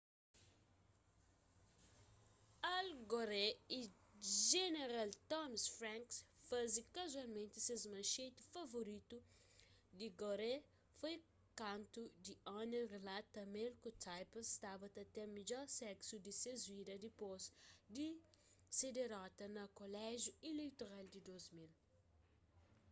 al gore y jeneral tommy franks faze kazualmenti ses manxeti favoritu di gore foi kantu the onion rilata ma el ku tipper staba ta ten midjor seksu di ses vida dipôs di se dirota na koléjiu ileitoral di 2000